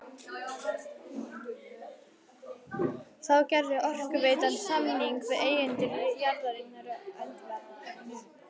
Þá gerði Orkuveitan samning við eigendur jarðarinnar Öndverðarness